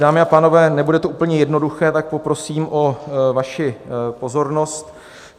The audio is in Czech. Dámy a pánové, nebude to úplně jednoduché, tak poprosím o vaši pozornost.